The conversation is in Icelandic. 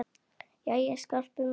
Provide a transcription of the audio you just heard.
Jæja, Skarpi minn.